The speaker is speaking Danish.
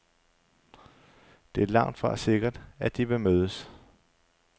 Det er langtfra sikkert, at de vil mødes.